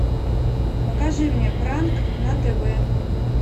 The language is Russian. покажи мне пранк на тв